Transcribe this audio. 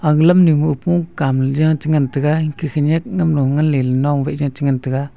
ag lamnu ma opong kamley ja chi ngantaga inke khanak namlo nganley nong wai ja chi ngantaga.